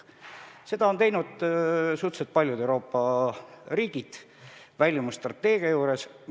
Selle valiku on teinud suhteliselt paljud Euroopa riigid oma väljumisstrateegiat luues.